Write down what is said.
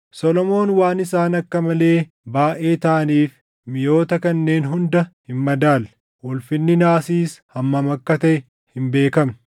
Solomoon waan isaan akka malee baayʼee taʼaniif miʼoota kanneen hunda hin madaalle; ulfinni naasiis hammam akka taʼe hin beekamne.